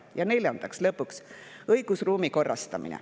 Ja neljandaks, lõpuks, õigusruumi korrastamine.